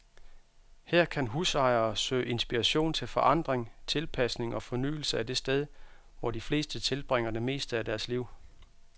Her kan husejere søge inspiration til forandring, tilpasning og fornyelse af det sted, hvor de fleste tilbringer det meste af deres liv.